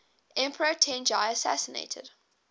emperor tenji assassinated